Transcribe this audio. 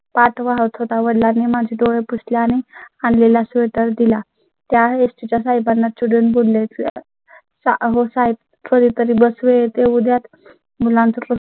पाठ वा होत होता. वडिलां नी माझे डोळे पुसले आणि आणलेला sweater दिला. त्या ST च्या साहेबांना चिडून बोलले. हो साहेब कधी तरी बस वेळे येउद्या मुलांचं होत